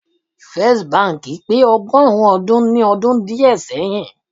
First bank pe ogorun odun ni odun die seyin